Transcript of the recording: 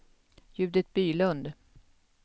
Judit Bylund